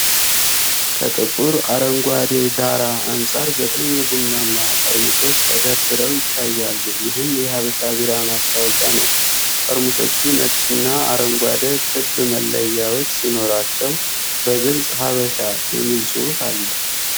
ከጥቁር አረንጓዴ ዳራ አንፃር፣ ዘጠኝ ቡናማ ጠርሙሶች ተደራርበው ይታያሉ፤ ይህም የሃበሻ ቢራ ማስታወቂያ ነው። ጠርሙሶቹ ነጭና አረንጓዴ ክብ መለያዎች ሲኖራቸው፣ በግልጽ "ሃበሻ" የሚል ጽሑፍ አለ።